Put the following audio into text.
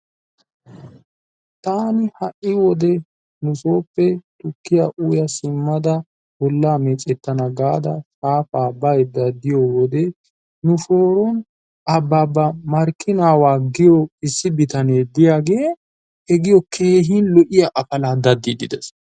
Taani ha'i wode nusooppe tukkiyaa uya simmada bollaa meecettana gaada shaafaa baydda diyo wode nuson Abaabba Markkinaawaa giyoo issi bitanee diyaagee he giyo keehin lo'iyaa afala daddiiddi des.